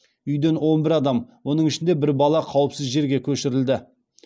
үйден он бір адам оның ішінде бір бала қауіпсіз жерге көшірілді